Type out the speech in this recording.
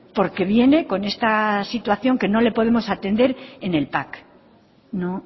porque viene con esta situación que no le podemos atender en el pac no